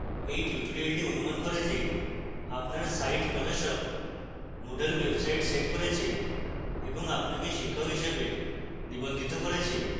এই tutorial অনুমান করে যে আপনার site প্রশাসক moodle website set করেছে